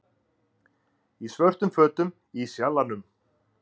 Í svörtum fötum í Sjallanum